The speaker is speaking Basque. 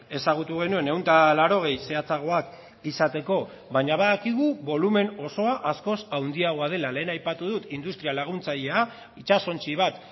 ezagutu genuen ehun eta laurogei zehatzagoak izateko baina badakigu bolumen osoa askoz handiagoa dela lehen aipatu dut industria laguntzailea itsasontzi bat